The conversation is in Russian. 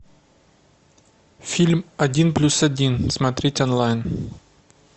фильм один плюс один смотреть онлайн